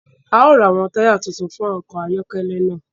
A o rá awọn taya títún fún ọkọ ayọkẹlẹ náà